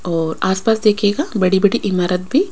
और आसपास देखिएगा बड़ी बड़ी इमारत भी--